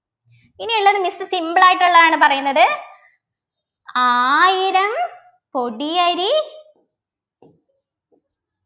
ഇനിയെല്ലാരും miss simple ആയിട്ടുള്ളതാണ് പറയുന്നത് ആയിരം കൊടിയരി